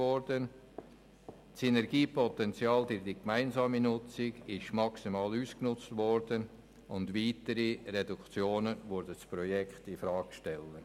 Das Synergiepotenzial für die gemeinsame Nutzung wurde maximal ausgeschöpft, und weitere Reduktionen würden das Projekt infrage stellen.